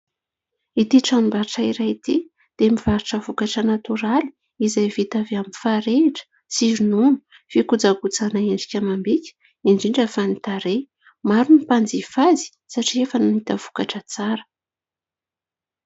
Ity tranombarotra iray ity dia mivarotra vokatra natoraly izay vita avy amin'ny farehitra sy ronono fikojakojana endrika amam-bika indrindra fa ny tarehy. Maro ny mpanjifa azy satria efa nahita vokatra tsara.